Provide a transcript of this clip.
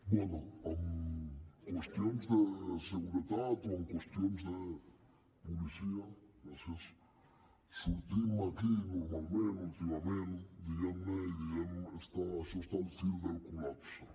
bé en qüestions de seguretat o en qüestions de policia sortim aquí normalment últimament diguem ne i diem això està al fil del col·lapse